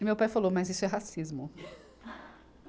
E meu pai falou, mas isso é racismo.